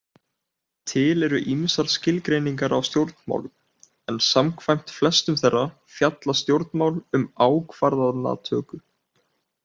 Til eru ýmsar skilgreiningar á stjórnmálum, en samkvæmt flestum þeirra fjalla stjórnmál um ákvarðanatöku.